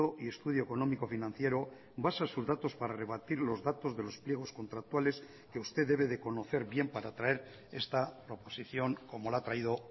y estudio económico financiero basa sus datos para rebatir los datos de los pliegos contractuales que usted debe de conocer bien para traer esta proposición como la ha traído